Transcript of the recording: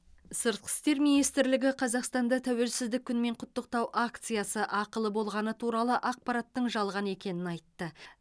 сыртқы істер министрлігі қазақстанды тәуелсіздік күнімен құттықтау акциясы ақылы болғаны туралы ақпараттың жалған екенін айтты